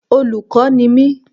Olùkọ́ ni mi